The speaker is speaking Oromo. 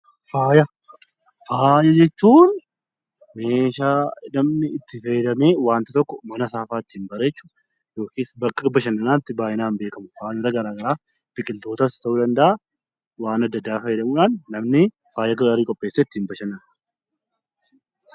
Faaya jechuun meeshaa namni itti fayyadamee namni tokko manasaafaa ittiin bareechu yookiis bakka bashannanaatti baay'inaan beekamudha. Waanta gara garaa biqiltootas ta'uu danda'a, waan adda addaa fayyadamuudhaan namni faaya gaarii qopheessee ittiin bashannana.